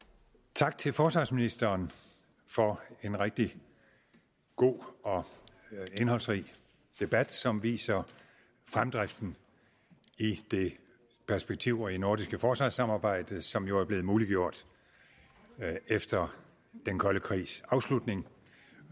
tak til forsvarsministeren for en rigtig god og indholdsrig debat som viser fremdriften i det perspektivrige nordiske forsvarssamarbejde som jo er blevet muliggjort efter den kolde krigs afslutning